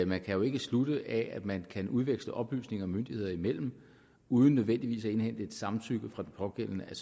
man kan jo ikke slutte af at man kan udveksle oplysninger myndigheder imellem uden nødvendigvis at indhente et samtykke fra den pågældende at